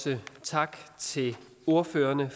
tak til ordføreren